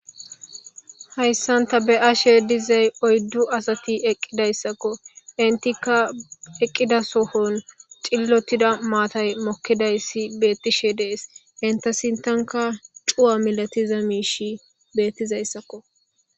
hayssanta be7ashe dizay oyddu asati eqqidayssakko intika eqqida sohon xillotida maatay mokkidayssi beettishe dees inta sintanka cuwa milatiza miishi beettizayssakko